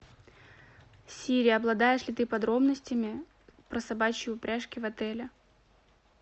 сири обладаешь ли ты подробностями про собачьи упряжки в отеле